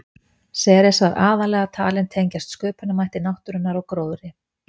Ceres var aðallega talin tengjast sköpunarmætti náttúrunnar og gróðri.